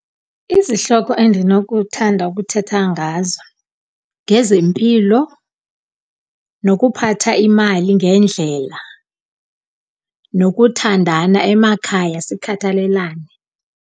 Izihloko endinokuthanda ukuthetha ngazo ngezempilo nokuphatha imali ngendlela, nokuthandana emakhaya sikhathalelane.